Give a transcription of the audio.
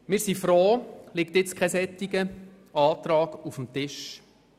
Wir sind froh, liegt nun kein solcher Antrag auf dem Tisch.